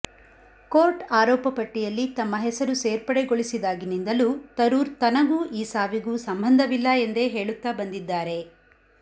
court ಆರೋಪ ಪಟ್ಟಿಯಲ್ಲಿ ತಮ್ಮ ಹೆಸರು ಸೇರ್ಪಡೆಗೊಳಿಸಿದಾಗಿನಿಂದಲೂ ತರೂರ್ ತನಗೂ ಈ ಸಾವಿಗೂ ಸಂಬಂಧವಿಲ್ಲ ಎಂದೇ ಹೇಳುತ್ತಾ ಬಂದಿದ್ದಾರೆ